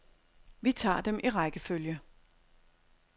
Vi tager dem i rækkefølge.